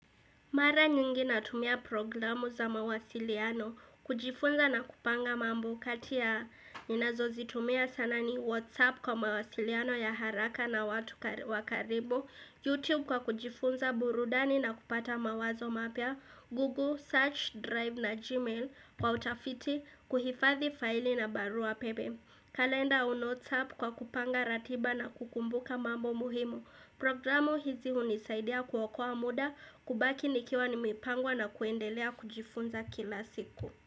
Mara nyingi natumia programu za mawasiliano, kujifunza na kupanga mambo kati ya ninazo zitumia sana ni Whatsapp kwa mawasiliano ya haraka na watu wakaribu Youtube kwa kujifunza burudani na kupata mawazo mapya Google, Search, Drive na Gmail kwa utafiti, kuhifadhi faili na barua pepe kalenda au notes app kwa kupanga ratiba na kukumbuka mambo muhimu Programu hizi hunisaidia kuokoa muda, kubaki nikiwa nimepangwa na kuendelea kujifunza kila siku.